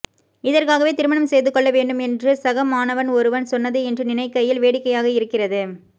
இதற்காகவே திருமணம் செய்து கொள்ள வேண்டும் என்று சகமாணவன் ஒருவன் சொன்னது இன்று நினைக்கையில் வேடிக்கையாக இருக்கிறது